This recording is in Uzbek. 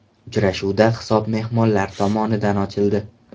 Uchrashuvda hisob mehmonlar tomonidan ochildi.